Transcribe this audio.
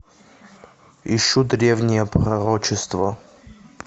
ищу древнее пророчество